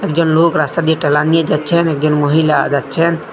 একজন লোক রাস্তা দিয়ে ঠেলান নিয়ে যাচ্ছেন একজন মহিলা যাচ্ছেন।